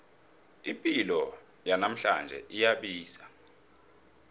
ipilo yanamhlanje iyabiza